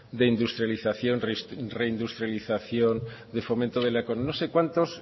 de industrialización de reindustrialización de fomento de la no sé cuántos